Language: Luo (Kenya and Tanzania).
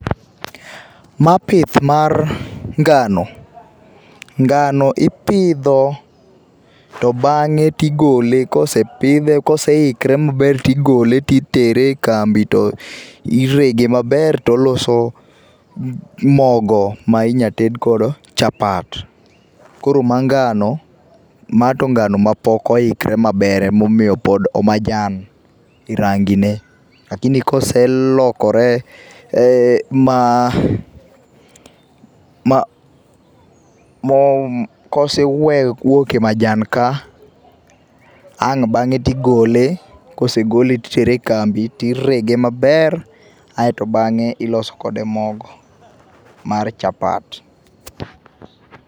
Ma pith mar ngano, ngano ipidho to bang'e tigole kosepidhe kosekikre maber tigole titere e kambi to irege maber toloso mogo ma inya ted godo chapat. Koro ma ngano ma to ngano mapok oikre maber ema omiyo pod o majan, rangi ne lakini koselokore ma ma, kosewuok e majan ka ang' bang'e tigole, kosegole titere e kambi tirege maber aio bang'e iloso kode mogo mar chapat